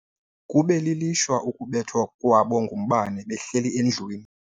Kube lilishwa ukubethwa kwabo ngumbane behleli endlwini.